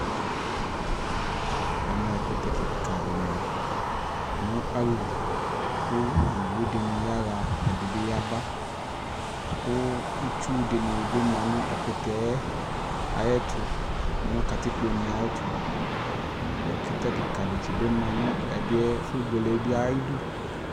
ɛmɛ ɛkʋtɛ kikaa di ma nʋ alili kʋ ɔwʋ dini yaha ɛdinibi yaba kʋ itsʋ dini bi manʋ ɛkʋtɛ ayɛtʋ nʋ atikpɔ nɛ ayɛtʋ ɛkʋtɛ kikaa dibi manʋ ɛdiɛ ɛƒʋ bʋɛlɛ bi ayidʋ